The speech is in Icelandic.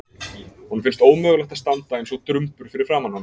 Honum finnst ómögulegt að standa eins og drumbur fyrir framan hana.